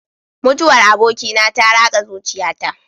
Mutuwar abokina ta ratsa zuciyata.